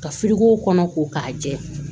Ka kɔnɔ ko k'a jɛ